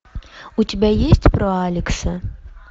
у тебя есть про алекса